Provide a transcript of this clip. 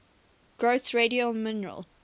growths radial mineral